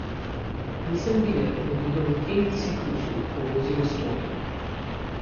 Nisem videl, da bi kdo v tem ciklusu povozil Estonijo.